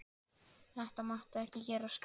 Þetta mátti ekki gerast!